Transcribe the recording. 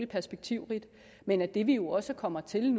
perspektivrigt men at det vi jo også kommer til